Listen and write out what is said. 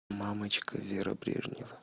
мамочка вера брежнева